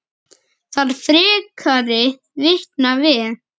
Þarf frekari vitna við?